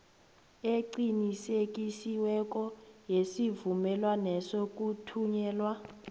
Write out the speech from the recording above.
eqinisekisiweko yesivumelwaneso kuthunyelwa